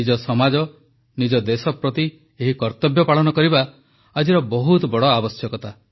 ନିଜ ସମାଜ ନିଜ ଦେଶ ପ୍ରତି ଏହି କର୍ତ୍ତବ୍ୟ ପାଳନ କରିବା ଆଜିର ବହୁତ ବଡ଼ ଆବଶ୍ୟକତା